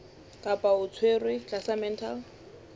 kapa o tshwerwe tlasa mental